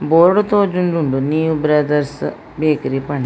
Board ತೋಜೊಂದುಂಡು ನಿವ್ brothers bakery ಪಂಡ್.